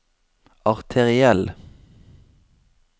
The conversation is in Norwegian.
arteriell